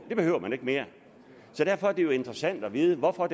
det behøver man ikke mere så derfor er det jo interessant at vide hvorfor